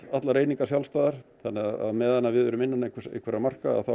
allar einingar sjálfstæðar þannig að á meðan við erum innan ákveðinna marka